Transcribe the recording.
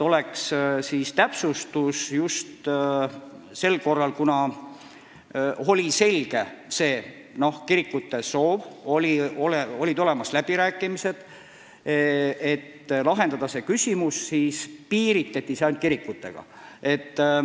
Ja kuna oli selge kirikute soov, olid läbirääkimised, et see küsimus lahendada, siis piiritleti see ainult kirikutega.